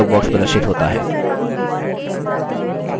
line dialog box प्रदर्शित होता है